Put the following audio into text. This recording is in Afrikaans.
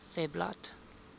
webblad